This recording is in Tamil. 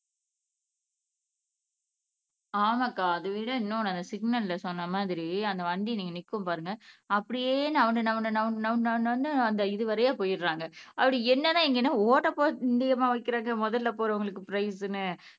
ஆமாக்கா அதை விட இன்னொண்ணு அந்த சிக்னல்ல சொன்ன மாதிரி அந்த வண்டி நிக்கும் பாருங்க அப்படியே நவு நவு நவு நவு நவு நவன்னு அந்த இது வழியா போயிடுறாங்க அப்படி என்னன்னா இங்க என்ன ஓட்டப் பந்தியமா வைக்கிறாங்க முதல்ல போறவங்களுக்கு பிரைஸ்ன்னு